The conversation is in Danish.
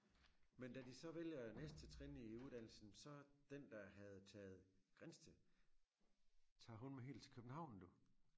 Men da de så vælger næste trin i uddannelsen så den der havde taget Grindsted tager huen med helt til København du